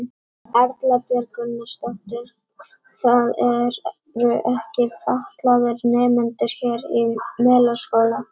Erla Björg Gunnarsdóttir: Það eru ekki fatlaðir nemendur hér í Melaskóla?